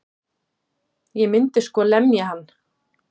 Ég myndi sko lemja hann.